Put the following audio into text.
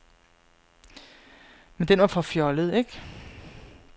Men den var for fjollet, ikke?